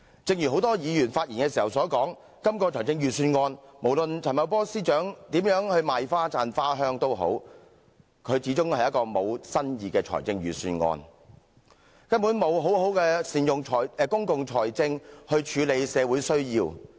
正如很多議員發言時所說，就今項財政預算案，無論陳茂波司長如何"賣花讚花香"，這一份始終是一份沒有新意的預算案，根本沒有好好善用公共財政來處理社會需要。